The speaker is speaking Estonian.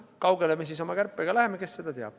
Kaugele me oma kärpega läheme, kes seda teab.